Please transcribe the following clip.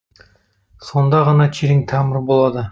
сонда ғана терең тамыр болады